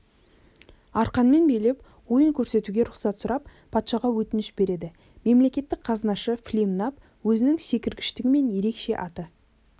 арқанмен билеп ойын көрсетуге рұқсат сұрап патшаға өтініш береді мемлекеттік қазынашы флимнап өзінің секіргіштігімен ерекше аты